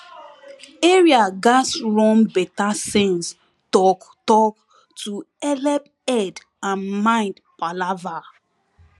area gatz run better sense talktalk to helep head and mind palava